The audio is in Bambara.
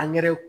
Angɛrɛ